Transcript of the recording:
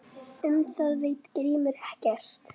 Um það veit Grímur ekkert.